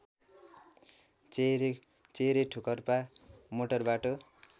चेहेरे ठोकर्पा मोटरबाटो